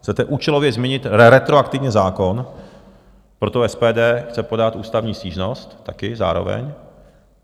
Chcete účelově změnit retroaktivně zákon, proto SPD chce podat ústavní stížnost také zároveň.